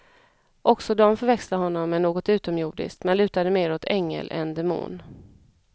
Också de förväxlade honom med något utomjordiskt men lutade mer åt ängel än demon.